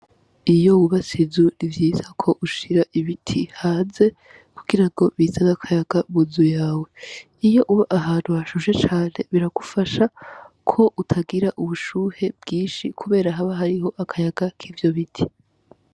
Iyo wubatse inzu ni vyiza ko ushira ibiti hanze kugira ngo bizane akayaga munzu yawe, iyo uba ahantu hashushe cane biragufasha ko utagira ubushuhe bwinshi kubera haba hariho akayaga kuvyo biti.